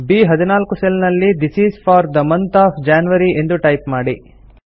ಬ್14 cell ನಲ್ಲಿ this is four the month of January ಎಂದು type ಮಾಡಿ